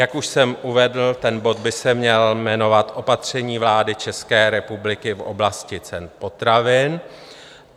Jak už jsem uvedl, ten bod by se měl jmenovat Opatření vlády České republiky v oblasti cen potravin.